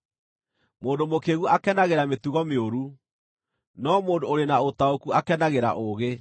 Mũndũ mũkĩĩgu akenagĩra mĩtugo mĩũru, no mũndũ ũrĩ na ũtaũku akenagĩra ũũgĩ.